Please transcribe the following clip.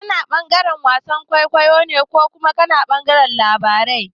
Kana ɓangaren wasan kwaikwayo ne ko kuma ɓangaren labarai?